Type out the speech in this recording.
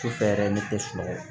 Sufɛ yɛrɛ ne tɛ sunɔgɔ